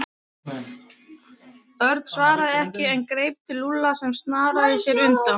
Örn svaraði ekki en greip til Lúlla sem snaraði sér undan.